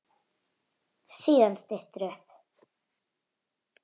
Síðan styttir upp.